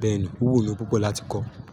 bẹ́ẹ̀ ni ó wù mí púpọ̀ láti kọ̀